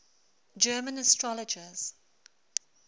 german astrologers